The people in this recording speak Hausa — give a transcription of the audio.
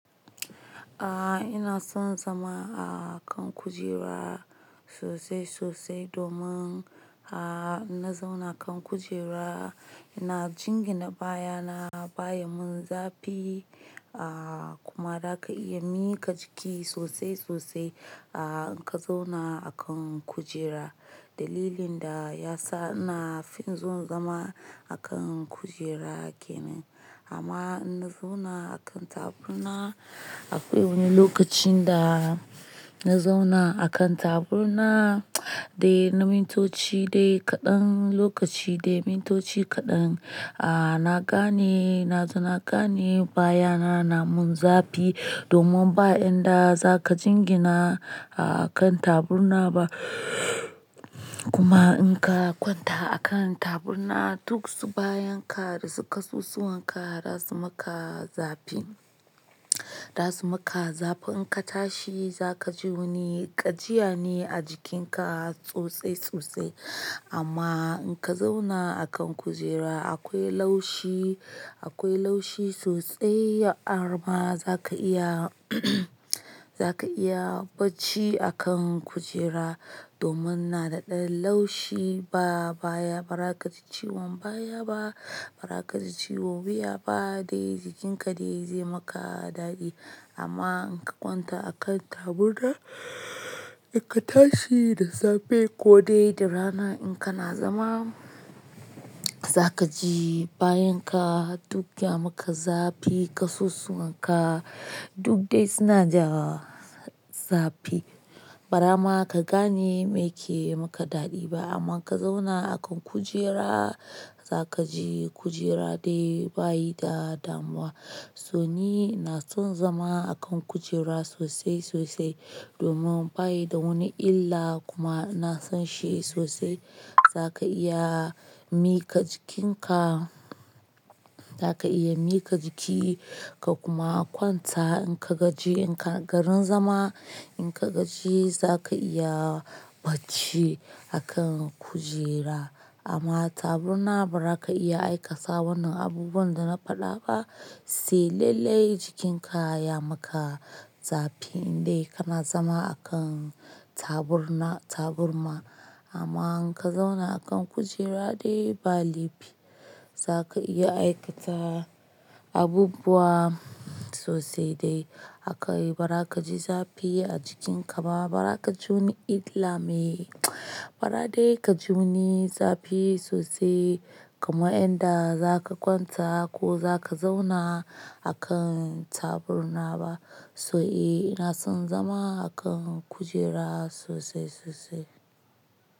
Aaa ina son zama a kan kujera sosai sosai domin a na zauna kan kujera ina jingina baya na baya mun zafi a kuma da aka iya mika jiki sosai sosai a in ka zauna a kan kujera. Dalilin da ya sa ina fin son zama a kan kujera kenan amma na zauna a kan taburma akwai wani lokacin da na zauna a kan taburma dai na mintoci dai kaɗan lokaci dai mintoci kaɗan a na gane na zo na gane baya na na mun zafi domin ba inda za ka jingina a kan taburma ba kuma in ka kwanta a kan taburma duk su bayan ka da su kasusuwan ka za su maka zafi. Za su maka zafi in ka tashi za ka ji wani ƙajiya ne a jikin ka sosai sosai amma in ka zauna a kan kujera akwai laushi akwai laushi sosai armar za ka iya za ka iya bacci a kan kujera domin na daɗaɗɗen laushi ba baya ba raka ci ciwon baya ba ba raka ci ciwo wuya ba dai jikin ka dai zai maka daɗi amma in ka kwanta a kan taburma da ka tashi da safe ko dai da rana in kana zama za ka ji bayan ka duk ya maka zafi kasusuwan ka duk dai suna dai suna da zafi. Ba dama ka gane me ke maka daɗi ba amma ka zauna a kan kujera za ka ji kujera dai bayi da damuwa. So ni na son zama a kan kujera sosai sosai domin baya da wani illa kuma na san shi sosai za ka iya mika jikin ka za ka iya mika jiki ka kuma kwanta in ka gaji in ka garin zama in ka gaji za ka iya bacci a kan kujera amma taburma ba za ka iya aikata wannan abubuwan da na faɗa ba sai lallai jikin ka ya maka zafi in dai kana zama a kan taburma taburma. Amman inka zauna a kan kujera dai ba laifi zaka iya aikata abubuwa sosai dai. Aka yi ba raka ji zafi a jikin ka ma ba raka ji wani illa me ba dai ka ji wani zafi sosai kamar yanda za ka kwanta ko za ka zauna a kan taburma ba. So eh ina son zama a kan kujera sosai sosai.